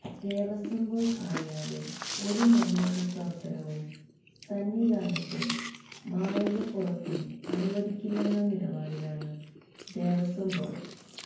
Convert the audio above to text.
Devaswom board അറിയാതെ ഒരു നിര്മ്മാണ പ്രവര്ത്തനവും സന്നിധാനത്തും മാളികപ്പുറത്തും അനുവദിക്കില്ലെന്ന നിലപാടിലാണ് ദേവസ്വം ബോര്ഡ്